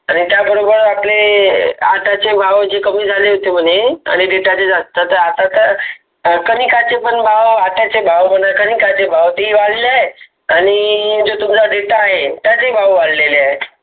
आणि त्याचबरोबर आपले data चे भाव कमी झाले होते म्हणे, आणि data चे ज्यास्त आणि आता तर कनिकाचे भाव आट्याचे भाव कनिकाचे भाव ते पण वाढले आहे आणि जे तुमचा data आहे. त्याचे भाव वाढलेले आहेत.